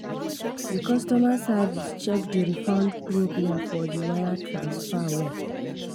the customer service check the refund problem for the wire transfer well.